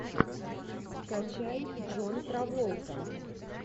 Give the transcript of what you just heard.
скачай джон траволта